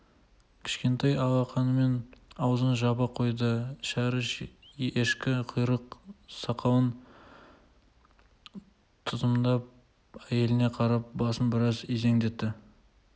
кішкентай алақанымен аузын жаба қойды шәріп ешкі құйрық сақалын тұтамдап әйеліне қарап басын біраз изеңдетті